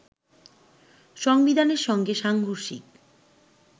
সংবিধানের সঙ্গে সাংঘর্ষিক